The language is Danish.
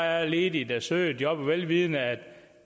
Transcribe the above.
er ledige der søger jobbet vel vidende at